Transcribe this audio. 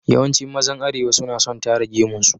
Yawancin mazan Arewa suna son tara gemun su.